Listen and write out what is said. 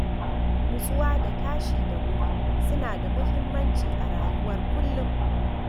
Nutsuwa da tashi da wuri suna da muhimmanci a rayuwar kullum.